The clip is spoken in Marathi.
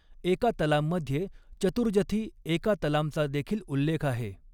एका तलाम'मध्ये 'चतुर जथी एका तलाम'चा देखील उल्लेख आहे.